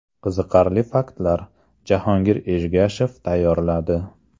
Qiziqarli faktlar: Jahongir Ergashev tayyorladi.